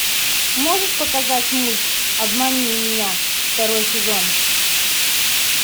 можешь показать мульт обмани меня второй сезон